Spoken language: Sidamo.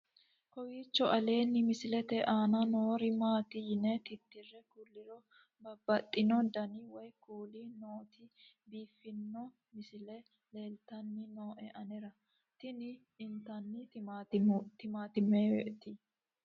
kowiicho aleenni misilete aana noori maati yine titire kulliro babaxino dani woy kuuli nooti biiffanno misile leeltanni nooe anera tino intanni timaatimetewe